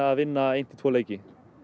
vinna einn til tvo leiki